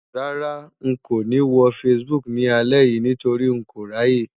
Rárá, n kò ní wo Facebook ni alẹ́ nítorí n kò ráyè.